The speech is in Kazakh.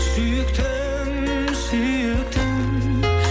сүйіктім сүйіктім